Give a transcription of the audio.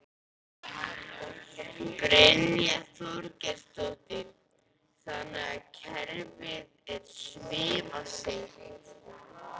Brynja Þorgeirsdóttir: Þannig að kerfið er svifaseint?